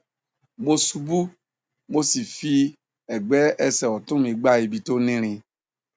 mo ṣubú mo sì fi sì fi ẹgbẹ ẹsẹ ọtún mi gbá ibi tó ní irin